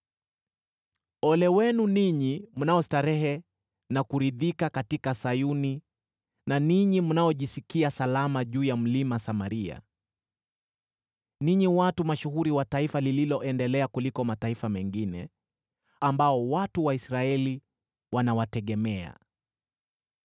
Ole wenu ninyi mnaostarehe na kuridhika katika Sayuni, na ninyi mnaojisikia salama juu ya Mlima Samaria, ninyi watu mashuhuri wa taifa lililoendelea kuliko mataifa mengine, ambao watu wa Israeli wanawategemea!